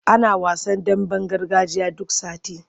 Ana wasan damben gargajiya duk sati.